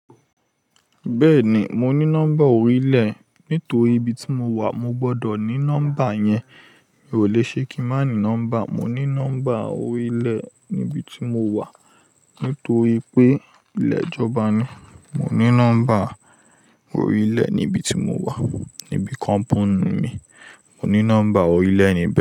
Bẹ́ẹ̀ni, mo ní nọ́mbà orílẹ̀. Nítorí ibi tí mo wà mo gbọ́dọ̀ ní nọ́mbà yẹn. Mi ò le ṣe kí má ní nọ́mbà. Mo ní nọ́mbà orílẹ̀ níbi tí mo wà nítorí pé ilé ìjọba ni. Mo ní nọ́mbà orílẹ̀ níbi tí mo wà, níbi company mi. Mo ní nọ́mbà orílẹ̀ níbi.